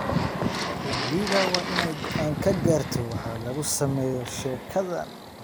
La Liga waa inay go'aan ka gaarto waxa lagu sameeyo sheekadan.""